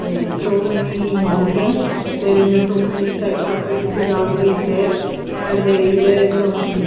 So many mountains there is a so many types of trees is also is there and there is a some.